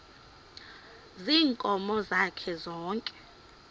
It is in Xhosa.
ziinkomo zakhe zonke